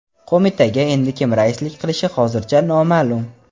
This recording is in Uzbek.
Qo‘mitaga endi kim raislik qilishi hozircha noma’lum.